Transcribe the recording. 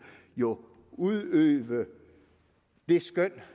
jo udøve det skøn